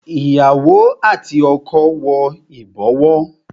Ìyàwó àti ọkọ wo ibowo